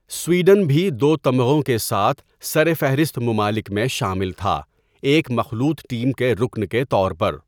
Sweden بھی دو تمغوں کے ساتھ سرفہرست ممالک میں شامل تھا، ایک مخلوط ٹیم کے رکن کے طور پر۔